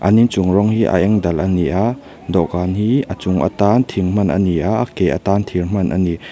an inchung rawng hi a eng dal a ni a dawhkan hi a chung atan thing hman a ni a a ke atan thir hman a ni.